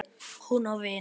Hún á vin.